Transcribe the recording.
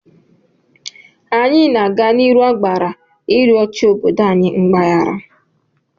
Anyị na-aga n'ihu agbara ịrịọ chi obodo anyị mgbahara.